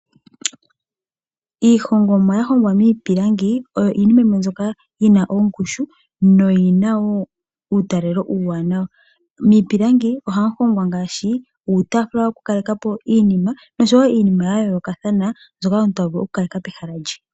Iihongomwa yahongwa miipilangi oyo iinima yimwe mbyoka yina ongushu noyi na wo uutalelo uuwanawa, miipilangi ohamu hongwa ngaashi uutaafula woku kaleka po iinima noshowo iinima yayoolokathana mbyoka omuntu to vulu oku kaleka pehala lye.